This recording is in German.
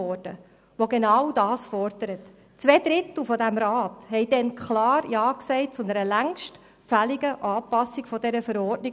Zwei Drittel der Mitglieder dieses Rats sagten damals Ja zu einer längst fälligen Anpassung der ABV.